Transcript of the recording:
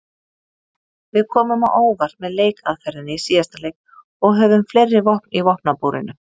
Við komum á óvart með leikaðferðinni í síðasta leik og höfum fleiri vopn í vopnabúrinu.